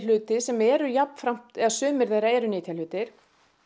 hluti sem eru jafnframt eða sumir þeirra eru nytjahlutir